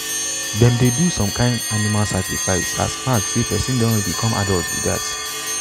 them dey do some kin animal sacrifice as mark say person don become adult be dat.